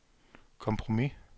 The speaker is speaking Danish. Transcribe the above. kompromis